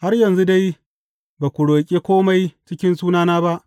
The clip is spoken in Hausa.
Har yanzu dai ba ku roƙi kome cikin sunana ba.